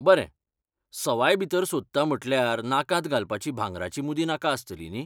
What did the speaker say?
बरें, सवाय भितर सोदता म्हटल्यार नाकांत घालपाची भांगराची मुदी नाका आसतली न्ही.